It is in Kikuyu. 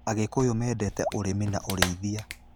Agikuyu mendete ũrĩmi na ũrĩithia.